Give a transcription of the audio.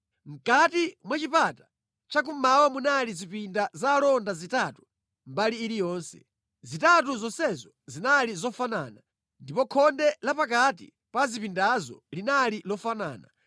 Mʼkati mwa chipata chakummawa munali zipinda za alonda zitatu mbali iliyonse. Zitatu zonsezo zinali zofanana, ndipo khonde la pakati pa zipindazo linali lofanana.